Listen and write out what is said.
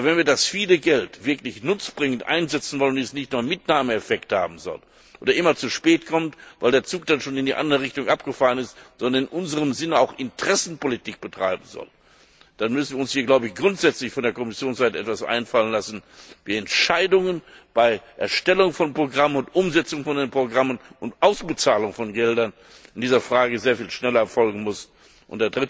Aber wenn wir das viele Geld wirklich nutzbringend einsetzen wollen und es nicht nur Mitnahmeeffekte haben soll oder immer zu spät kommt, weil der Zug dann schon in die andere Richtung abgefahren ist, sondern es in unserem Sinne auch Interessenpolitik betreiben soll, dann müssen wir uns grundsätzlich von Kommissionsseite her etwas einfallen lassen, wie Entscheidungen bei der Erstellung und Umsetzung von Programmen und Ausbezahlung von Geldern in dieser Frage sehr viel schneller erfolgen können.